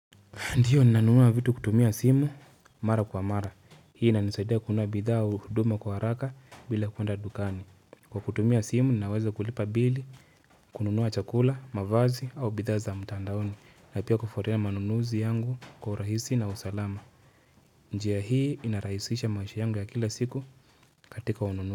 Ndio, ninanunua vitu kutumia simu mara kwa mara. Hii inanisaidia kunua bidhaa u hudumu kwa haraka bila kuenda dukani. Kwa kutumia simu, ninaweza kulipa bili, kununua chakula, mavazi au bidhaa za mtandaoni. Na apia kufuatia manunuzi yangu kwa urahisi na usalama. Njia hii inarahisisha maisha yangu ya kila siku katika ununu.